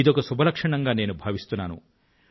ఇదొక శుభలక్షణంగా నేను భావిస్తున్నాను